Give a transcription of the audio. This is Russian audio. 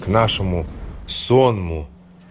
нашему сонму